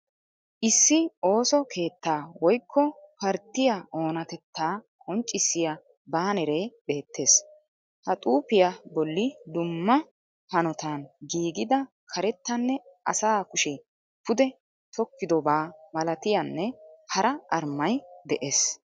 Issi ooso keettaa woykko parttiya oonatetaa qonccissiya baaneree beettees. Ha xuuffiya bolli dumma hanotaan giigida karetanne asa kushe pude tokkidobaa malattiyanne hara armay dees,